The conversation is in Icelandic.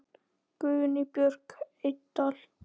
Guðný Björk Eydal.